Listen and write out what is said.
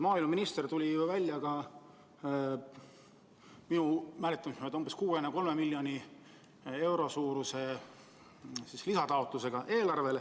Maaeluminister tuli minu mäletamist mööda välja ka umbes 63 miljoni euro suuruse lisataotlusega.